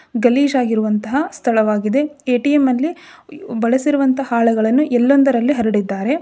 ಗಲೀಜಾಗಿರುವಂತಹ ಸ್ಥಳವಾಗಿದೆ. ಎ.ಟಿ.ಎಂ ಅಲ್ಲಿ ಬಳಸಿರುವಂತಹ ಹಾಳೆಗಳನ್ನು ಎಲ್ಲೆಂದರಲ್ಲಿ ಹರಡಿದ್ದಾರೆ.